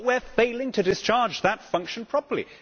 But we are failing to discharge that function properly.